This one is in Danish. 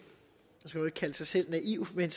kalde sig selv naiv men